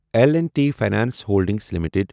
L and T finance holdings limited